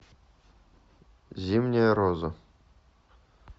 зимняя роза